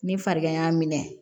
Ni farigan y'a minɛ